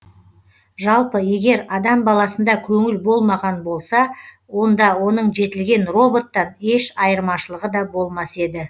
жалпы егер адам баласында көңіл болмаған болса онда оның жетілген роботтан еш айырмашылығы да болмас еді